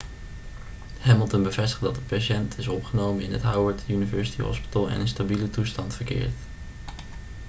hamilton bevestigde dat de patiënt is opgenomen in het howard university hospital en in stabiele toestand verkeert